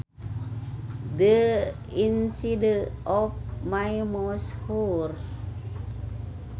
The inside of my mouth hurts